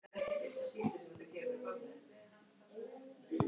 Þú varst besta amma mín.